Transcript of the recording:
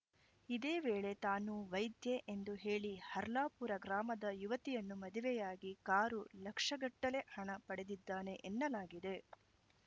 ಇದೇ ವೇಳೆ ತಾನು ವೈದ್ಯೆ ಎಂದು ಹೇಳಿ ಹರ್ಲಾಪುರ ಗ್ರಾಮದ ಯುವತಿಯನ್ನು ಮದುವೆಯಾಗಿ ಕಾರು ಲಕ್ಷಗಟ್ಟಲೆ ಹಣ ಪಡೆದಿದ್ದಾನೆ ಎನ್ನಲಾಗಿದೆ